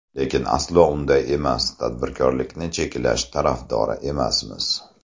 Lekin aslo unday emas, tadbirkorlikni cheklash tarafdori emasmiz.